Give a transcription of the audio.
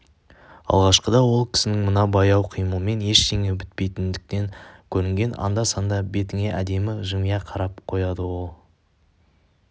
алғашқыда ол кісінің мына баяу қимылымен ештеңе бітпейтіндей көрінген анда-санда бетіңе әдемі жымия қарап қояды ол